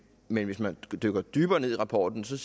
men hvis man dykker dybere ned i rapporten så